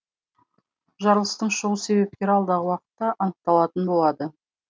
жарылыстың шығу себептері алдағы уақытта анықталатын болады